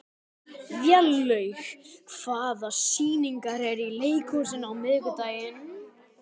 Vélaug, hvaða sýningar eru í leikhúsinu á miðvikudaginn?